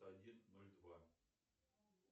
один ноль два